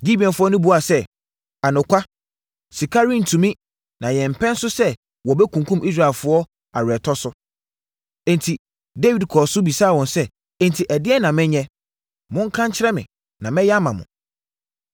Gibeonfoɔ no buaa sɛ, “Anokwa, sika rentumi, na yɛmpɛ nso sɛ wɔbɛkunkum Israelfoɔ aweretɔ so.” Enti, Dawid kɔɔ so bisaa wɔn sɛ, “Enti, ɛdeɛn na menyɛ? Monka nkyerɛ me, na mɛyɛ ama mo.”